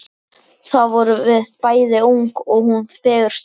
Þá vorum við bæði ung og hún fegurst allra.